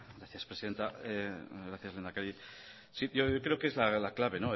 gracias presidenta gracias lehendakari yo creo que es la clave